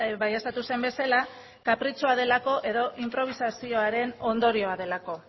baieztatu zen bezala kapritxoa delako edo inprobisazioaren ondorioa delako